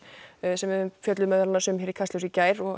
sem við fjölluðum meðal annars um hér í Kastljósi í gær og